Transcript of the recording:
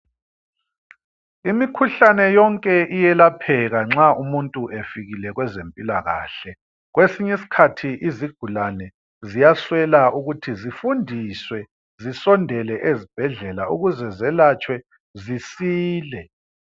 Imikhuhlane yonke iyelapheka nxa umuntu efikile kwezempilakahle kwesinye isikhathi izigulane ziyaswela ukuthi zifundiswe zisondele ezibhedlela ukuze zelatshwe zisile.